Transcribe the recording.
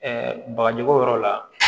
bagaji ko yɔrɔ la